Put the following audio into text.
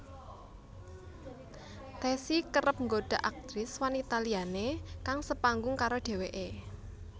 Tessy kerep nggoda aktris wanita liyané kang sepanggung karo dheweké